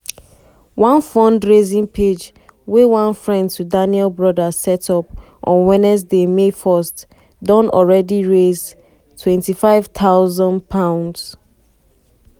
one fundraising page wey one friend to daniel brother set up on wednesday may 1 don already raise £25000.